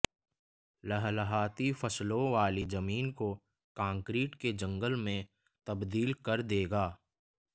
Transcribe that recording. लहलहाती फसलों वाली जमीन को कंकरीट के जंगल में तब्दील कर देगा